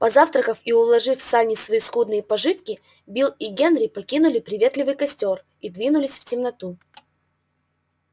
позавтракав и уложив в сани свои скудные пожитки билл и генри покинули приветливый костёр и двинулись в темноту